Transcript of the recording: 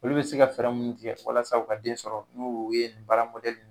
Olu bɛ se ka fɛɛrɛ mun tigɛ walasa u ka den sɔrɔ n'o ye baara